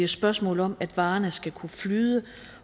spørgsmål om at varerne skal kunne flyde